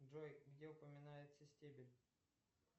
джой где упоминается стебель